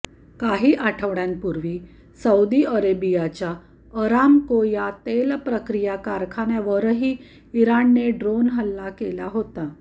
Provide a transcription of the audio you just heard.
काही आठवडय़ांपूर्वी सौदी अरेबियाच्या अरामको या तेलप्रक्रिया कारखान्यावरही इराणने ड्रोन हल्ला केला होता